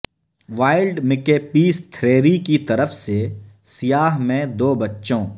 wild Makepeace Thackeray کی طرف سے سیاہ میں دو بچوں